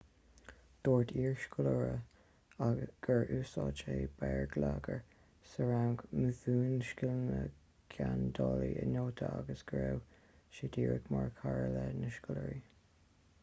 dúirt iarscoláire gur 'úsáid sé béarlagair sa rang mhúin scileanna geandála i nótaí agus go raibh sé díreach mar chara leis na scoláirí.'